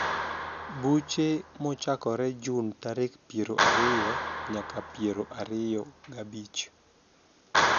Buche mochakore juni tarik piero ariyo nyaka piero ariroga bich